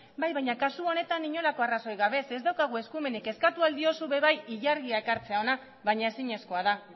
bai baina kasu honetan inolako arrazoirik gabe zeren ez daukagu eskumenik eskatu ahal diozu ere bai ilargia ekartzea hona baina ezinezkoa da